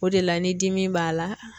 O de la ni dimi b'a la